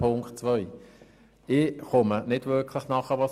Ich verstehe nicht wirklich, was die BDP damit will.